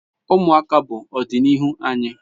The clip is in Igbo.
Umuaka bu odinihu anyi